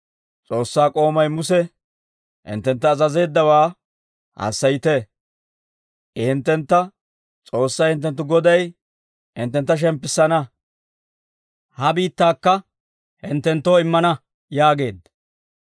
«S'oossaa k'oomay Muse hinttentta azazeeddawaa hassayite. I hinttentta, ‹S'oossay hinttenttu Goday hinttentta shemppissana; ha biittaakka hinttenttoo immana› yaageedda.